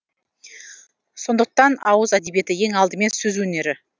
сондықтан ауыз әдебиеті ең алдымен сөз өнері